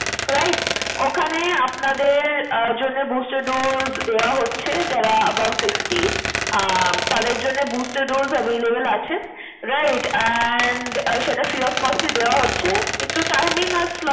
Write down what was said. Right? ওখানে আপনাদের ah জন্যে booster dose দেওয়া হচ্ছে যারা about sixty । আহ তাদের জন্যে booster dose available আছে। Right and সেটা free of cost এ দেওয়া হচ্ছে একটু timing a slot